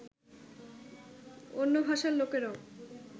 অন্য ভাষার লোকেরাও